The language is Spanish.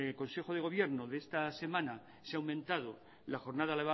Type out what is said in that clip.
consejo de gobierno de esta semana se ha aumentado la jornada